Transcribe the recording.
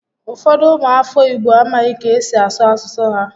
Ụfọdụ ụmụ afọ Igbo amaghị ka esi asụ asụsụ ha